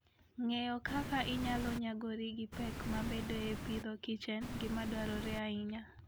Ng'eyo kaka inyalo nyagori gi pek mabedoe e Agriculture and Fooden gima dwarore ahinya.